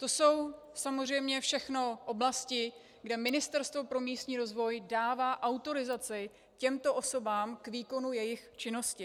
To jsou samozřejmě všechno oblasti, kde Ministerstvo pro místní rozvoj dává autorizaci těmto osobám k výkonu jejich činnosti.